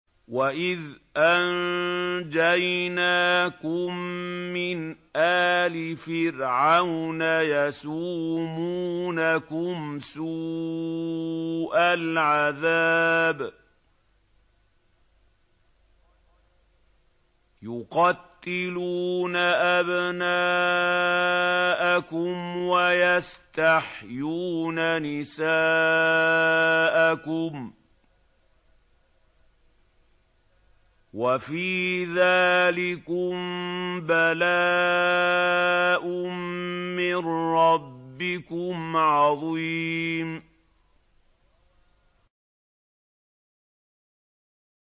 وَإِذْ أَنجَيْنَاكُم مِّنْ آلِ فِرْعَوْنَ يَسُومُونَكُمْ سُوءَ الْعَذَابِ ۖ يُقَتِّلُونَ أَبْنَاءَكُمْ وَيَسْتَحْيُونَ نِسَاءَكُمْ ۚ وَفِي ذَٰلِكُم بَلَاءٌ مِّن رَّبِّكُمْ عَظِيمٌ